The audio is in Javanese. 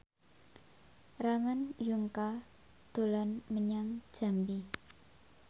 Ramon Yungka dolan menyang Jambi